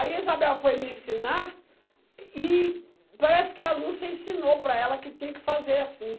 Aí a Isabel foi me ensinar e parece que a Lúcia ensinou para ela que tinha que fazer assim.